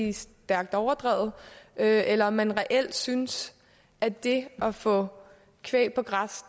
er stærkt overdrevne eller eller om man reelt synes at det at få kvæg på græs